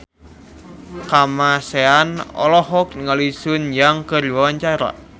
Kamasean olohok ningali Sun Yang keur diwawancara